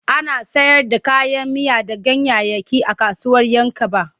Ana sayar da kayan miya da ganyayyaki a kasuwar 'Yankaba.